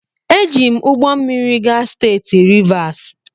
Eji m ụgbọ mmiri gaa steeti Rivas.